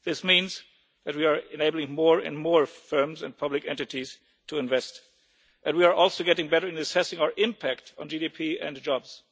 This means that we are enabling more and more firms and public entities to invest, and we are also getting better at assessing our impact on GDP and jobs.